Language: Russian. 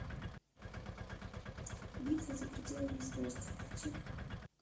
битва за пределами звезд включи